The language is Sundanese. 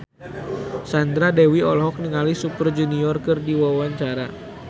Sandra Dewi olohok ningali Super Junior keur diwawancara